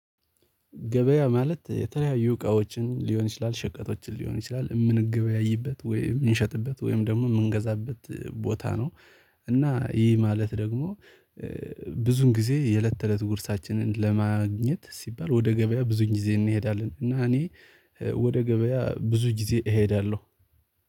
ገበያ ማለት የተለያዩ እቃዎችን ሊሆን ይችላል ሸቀጦችን ሊሆን ይችላል የምንገበያይበት ወይም የምንሸጥበት ወይም ደግሞ የምንገዛበት ቦታ ነው እና ይሄ ማለት ደግሞ ብዙን ጊዜ የለት ተእለት ጉርሳችንን ለማግኘት ሲባል ወደ ገበያ ብዙን ጊዜ እንሄዳለን እና እኔ ወደ ገበያ ብዙ ጊዜ እሄዳለሁ።